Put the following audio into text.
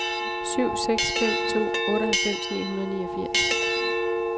syv seks fem to otteoghalvfems ni hundrede og niogfirs